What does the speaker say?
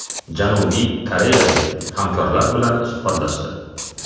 Janubiy koreyalik hamkorlar bilan suhbatlashdi.